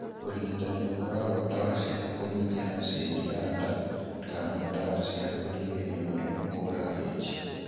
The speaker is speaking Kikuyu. Ũrigitani ũkoragwo dawa cia kũnyihia acidi ya nda kana ndawa cia kũrigĩrĩria mũrimũ kũraga H.